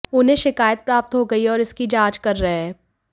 उन्हें शिकायत प्राप्त हो गई है और इसकी जांच कर रहे हैं